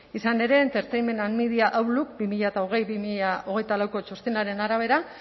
izan ere entertainment and media outlook bi mila hogei bi mila hogeita lauko txostenaren arabera